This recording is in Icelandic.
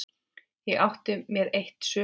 Ég átti mér eitt sumar.